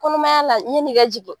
Kɔnɔmaya la yan'i ka jigin.